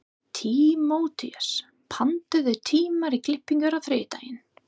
Tímóteus, pantaðu tíma í klippingu á þriðjudaginn.